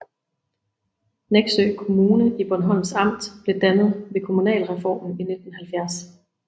Neksø Kommune i Bornholms Amt blev dannet ved kommunalreformen i 1970